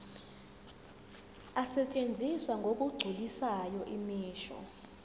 asetshenziswa ngokugculisayo imisho